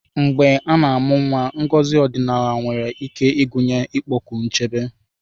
Mgbe a na-amụ nwa, ngozi ọdịnala nwere ike ịgụnye ịkpọku nchebe.